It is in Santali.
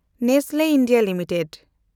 Nestle India limited